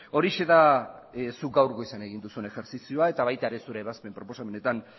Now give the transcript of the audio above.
horixe da zuk gaur goizean egin duzun ejerzizioa eta baita ere zure ebazpen proposamenetan